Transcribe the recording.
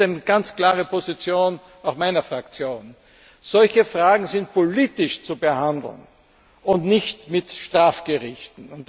Aber es gibt eine ganz klare Position, auch meiner Fraktion Solche Fragen sind politisch zu behandeln und nicht mit Strafgerichten.